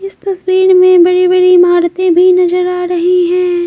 इस तस्वीर में बड़ी-बड़ी इमारतें भी नजर आ रही हैं।